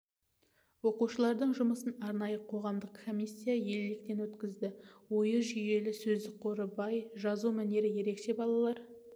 оқушылардың жұмысын арнайы қоғамдық комиссия електен өткізді ойы жүйелі сөздік қоры бай жазу мәнері ерекше балалар